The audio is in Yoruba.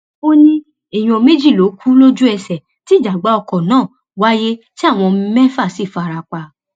ó ní èèyàn méjì ló kú lójúẹsẹ tí ìjàgbá ọkọ náà wáyé tí àwọn mẹfà sì fara pa